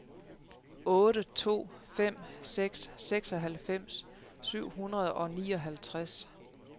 otte to fem seks seksoghalvfems syv hundrede og nioghalvtreds